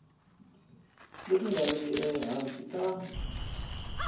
leti nga riki ehansi ka